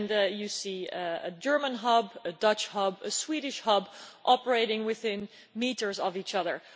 You see a German hub, a Dutch hub and a Swedish hub operating within metres of each other.